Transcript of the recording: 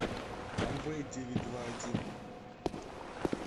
амвей девять два один